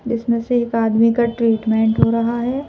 जिसमें से एक आदमी का ट्रीटमेंट हो रहा है